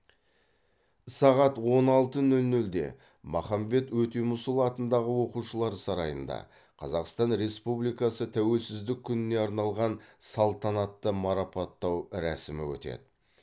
сағат он алты нөл нөлде махамбет өтемісұлы атындағы оқушылар сарайында қазақстан республикасы тәуелсіздік күніне арналған салтанатты марапаттау рәсімі өтеді